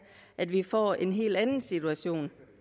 at vi får en helt anden situation